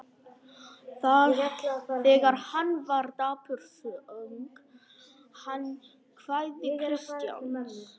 Þegar hann var dapur söng hann kvæði Kristjáns